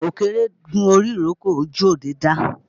Ọ̀kẹ́rẹ́ gun orí ìrókò, ojú ọdẹ dá